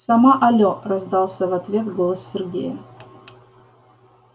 сама алло раздался в ответ голос сергея